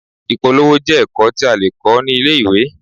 Ìpolówó jẹ́ ẹ̀kọ́ tí a lè kọ́ ní ilé-ìwé.